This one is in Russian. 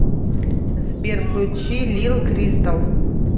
сбер включи лил кристалл